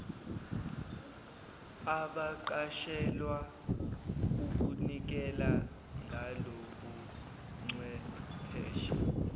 abaqashelwa ukunikela ngalobuchwepheshe